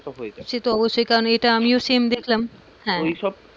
হয়ে যাই, সে তো অবশ্যই কারণ আমিও same দেখলাম,